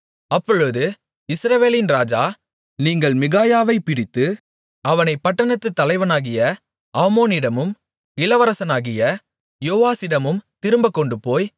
அப்பொழுது இஸ்ரவேலின் ராஜா நீங்கள் மிகாயாவைப் பிடித்து அவனைப் பட்டணத்துத் தலைவனாகிய ஆமோனிடமும் இளவரசனாகிய யோவாசிடமும் திரும்பக் கொண்டுபோய்